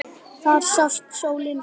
Þar sást sólin fyrr.